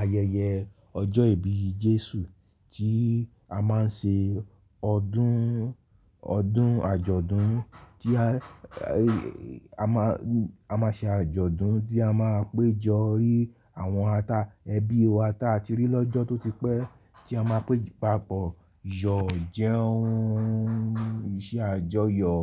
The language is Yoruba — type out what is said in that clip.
ayẹyẹ ọjọ́ ìbí Jésù tí a máa ń ṣe ọdún, ọdún àjọ̀dún tí a, a máa, a máa ṣe àjọ̀dún tí a máa péjọ rí àwọn ata ẹbí wa tí a ti rí lọ́jọ́ tó ti pẹ́ tí a máa pé ìpápọ̀ yọ jẹun, iṣẹ́ àjọyọ̀.